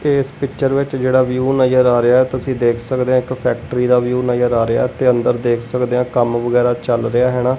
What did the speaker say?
ਇੱਸ ਪਿਕਚਰ ਵਿੱਚ ਜਿਹੜਾ ਵਿਊ ਨਜ਼ਰ ਆ ਰਿਹਾ ਹੈ ਤੁਸੀਂ ਦੇਖ ਸਕਦੇ ਹਾਂ ਇੱਕ ਫੈਕ੍ਟ੍ਰੀ ਦਾ ਵਿਊ ਨਜ਼ਰ ਆ ਰਿਹਾ ਤੇ ਅੰਦਰ ਦੇਖ ਸਕਦੇ ਹਾਂ ਕੰਮ ਵਗੈਰਾ ਚੱਲ ਰਿਹਾ ਹੈਂਣਾਂ।